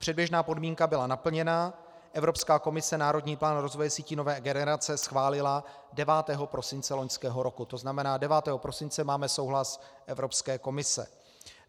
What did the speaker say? Předběžná podmínka byla naplněna, Evropská komise národní plán rozvoje sítí nové generace schválila 9. prosince loňského roku, to znamená, 9. prosince máme souhlas Evropské komise.